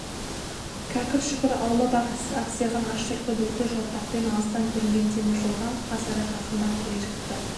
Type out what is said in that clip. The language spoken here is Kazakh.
кәкір-шүкір аулап ақсиған аш түлкі бүлкіл жортақпен алыстан көрінген темір жолға қасара жақындап келе жатты